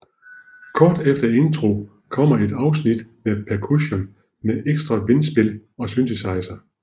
Kort efter intro kommer et afsnit med percussion med ekstra vindspil og synthesizer